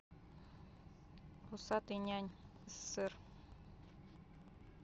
усатый нянь ссср